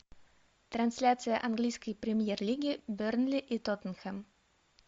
трансляция английской премьер лиги бернли и тоттенхэм